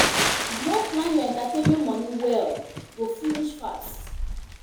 If you no plan your entertainment money well, e go finish fast